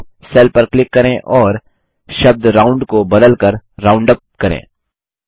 उत्तर के साथ सेल पर क्लिक करें और शब्द राउंड को बदल कर राउंडअप करें